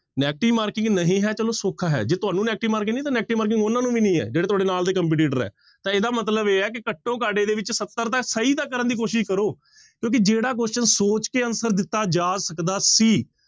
Negative marking ਨਹੀਂ ਹੈ ਚਲੋ ਸੌਖਾ ਹੈ ਜੇ ਤੁਹਾਨੂੰ negative marking ਨੀ ਤਾਂ negative marking ਉਹਨਾਂ ਨੂੰ ਵੀ ਨੀ ਹੈ, ਜਿਹੜੇ ਤੁਹਾਡੇ ਨਾਲ ਦੇ competitor ਹੈ ਤਾਂ ਇਹਦਾ ਮਤਲਬ ਇਹ ਹੈ ਕਿ ਘੱਟੋ ਘੱਟ ਇਹਦੇ ਵਿੱਚ ਸੱਤਰ ਤਾਂ ਸਹੀ ਤਾਂ ਕਰਨ ਦੀ ਕੋਸ਼ਿਸ਼ ਕਰੋ ਕਿਉਂਕਿ ਜਿਹੜਾ question ਸੋਚ ਕੇ answer ਦਿੱਤਾ ਜਾ ਸਕਦਾ ਸੀ।